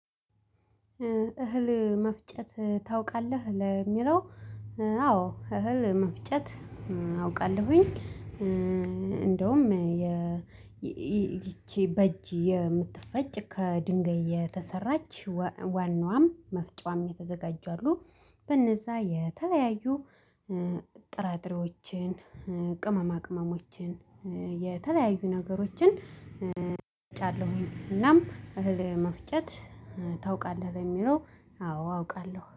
እህል መፍጨት ታውቃለህ ለሚለው አዎ እህል መፍጨት አውቃለሁኝ እንደውም የ ይቺ በእጅ የምትፈጭ ከድንጋይ የተሰራች ዋናዋም መፍጫዋም የተዘጋጁ አሉ በነዛ የተለያዩ ጥራጥሬዎችን ቅመማ ቅመሞችን የተለያዩ ነገሮችን እጫለሁኝ እናም እህል መፍጨት ታውቃለህ በሚለው አዎ አውቃለሁ።